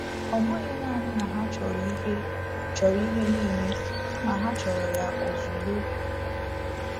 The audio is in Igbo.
Ọ bụghị naanị na ha chọrọ ihe chọrọ ihe niile kama ha chọrọ ya ozugbo!